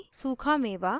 सूखा मेवा